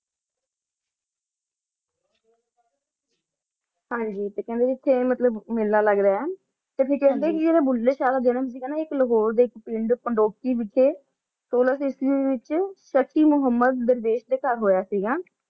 ਹਾਂਜੀ ਕਹਿੰਦੇ ਆਏ ਕ ਮੇਲਾ ਲੱਗਦਾ ਆਏl ਤੇ ਹੋਰ ਕੈਂਡੇ ਸੀ ਕ ਜਦੋਂ ਬੁੱਲੇ ਸ਼ਾਹ ਦਾ ਜਨਮ ਹੋਇਆ ਆ ਲਾਹੌਰ ਡੇ ਵਿਚ ਇਕ ਪਿੰਡ ਪੰਦੋਕੀ ਵਿਚ ਸੋਲਾਂ ਕੱਸੀ ਵਿਚ ਇਕ ਸਾਖੀ ਮੁਹੰਮਦ ਦਰਵੈਸ਼ ਦਾ ਘਰ ਹੂਆ ਆਏ